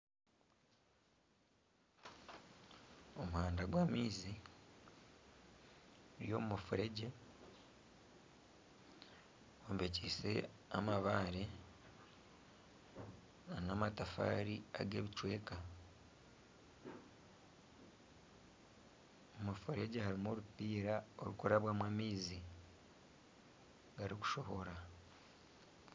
Omuhanda gw'amaizi guri omu mufuregye gw'ombekiise amabaare nana amatafaari ag'ebicweka omu mufuregye harimu orupiira orw'okurabyamu amaizi garikushohora .